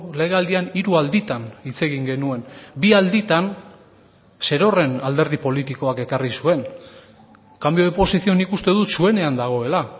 legealdian hiru alditan hitz egin genuen bi alditan zerorren alderdi politikoak ekarri zuen cambio de posición nik uste dut zuenean dagoela